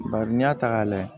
Bari n'i y'a ta k'a lajɛ